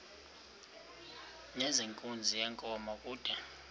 nezenkunzi yenkomo kude